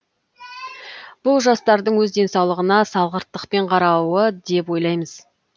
бұл жастардың өз денсаулығына салғырттықпен қарауы деп ойлаймыз